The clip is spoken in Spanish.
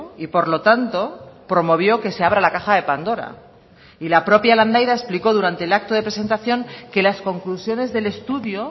y por lo tanto promovió que se abra la caja de pandora y la propia landaida explicó durante el acto de presentación que las conclusiones del estudio